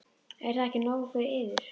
Er það ekki nóg fyrir yður?